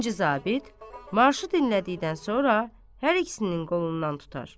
İkinci zabit, marşı dinlədikdən sonra hər ikisinin qolundan tutar.